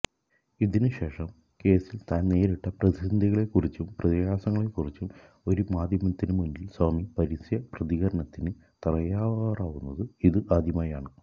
ഇതിനുശേഷം കേസ്സിൽ താൻ നേരിട്ട പ്രതിസന്ധികളെക്കുറിച്ചും പ്രയാസങ്ങളെക്കുറിച്ചും ഒരു മാധ്യമത്തിന് മുന്നിൽ സ്വാമി പരസ്യപ്രതികരണത്തിന് തയ്യാറാവുന്ന് ഇത് ആദ്യമാണ്